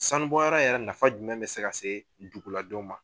Sanubɔyɔrɔ yɛrɛ nafa jumɛn bɛ se ka see duguladenw ma?